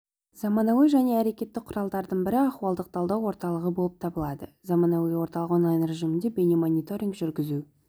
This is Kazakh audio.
заманауи және әрекетті құралдардың бірі ахуалдық талдау орталығы болып табылады заманауи орталық онлайн режимінде бейне-мониторинг жүргізу